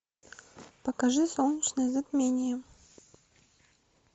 покажи солнечное затмение